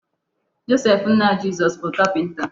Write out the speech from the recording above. Joseph nna Jizọs bụ kapịnta.